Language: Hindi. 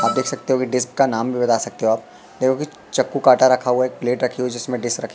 आप देख सकते हो की डिस्क का नाम भी बता सकते हो आप देखो कि चाकू कटा रखा हुआ है एक प्लेट रखी हुई है जिसमें डिश रखी--